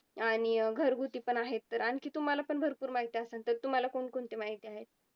आणि अं घरगुती पण आहेत. आणखी तुम्हाला पण भरपूर माहिती असंन तर तुम्हाला कोणकोणती माहिती आहे?